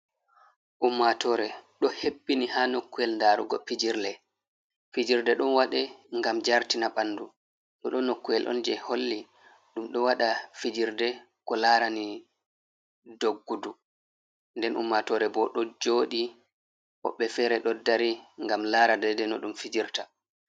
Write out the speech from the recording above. Ummatore ɗo hebbini ha nokkuwel ndarugo pijirle, fijirde ɗon wade ngam jartina bandu no ɗo nokku'el on je holli ɗum ɗo waɗa fijirde ko larani doggudu. nden ummatore bo ɗo joɗi, woɓbe fere ɗo dari ngam laradede no ɗum fijirta.